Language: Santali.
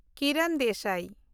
ᱠᱤᱨᱚᱱ ᱫᱮᱥᱟᱭ